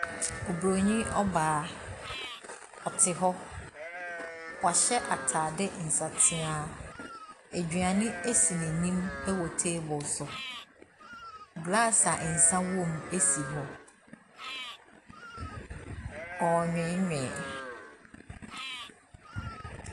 Obronin ɔbaa, ɔte hɔ, wahyɛ ataadeɛ nsatea. Aduane si n’anim wɔ table so, glass a nsa wɔ mu si wɔ, ɔrenweenwee.